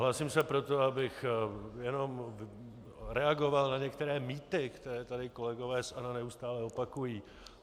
Hlásím se proto, abych jenom reagoval na některé mýty, které tady kolegové z ANO neustále opakují.